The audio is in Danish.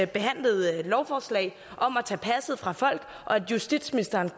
behandlede et lovforslag om at tage passet fra folk og justitsministeren